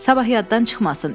Sabah yatdan çıxmasın.